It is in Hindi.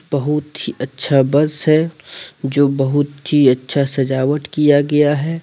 बहुत ही अच्छा बस है जो बहुत ही अच्छा सजावट किया गया है।